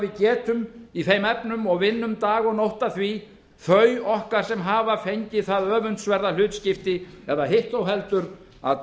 getum í þeim efnummog vinnum dag og nótt að því þau okkar sem hafa fengið það öfundsverða hlutskipti eða hitt þó heldur að